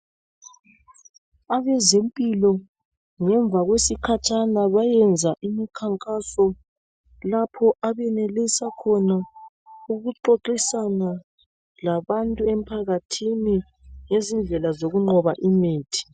Abezempilo ngemva kwesikhatshana bayenza imikhankaso lapho abayenelisa khona ukuxoxisana labantu emphakathini ngezidlela zokuqhoba imithi.